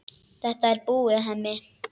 Þetta er búið, Hemmi.